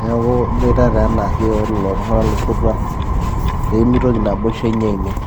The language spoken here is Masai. neeku iboitata enaake wololo tung'anak losotua peemitoki naboisho inyi aimin.